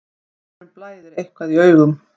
Einhverjum blæðir eitthvað í augum